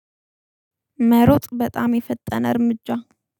መሮጥ በጣም የፈጠነ እርምጃ